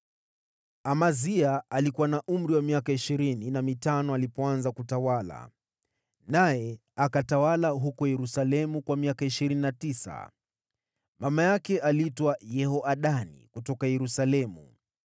Amazia alikuwa na umri wa miaka ishirini na mitano alipoanza kutawala, naye akatawala huko Yerusalemu kwa miaka ishirini na tisa. Mama yake aliitwa Yehoadani kutoka Yerusalemu.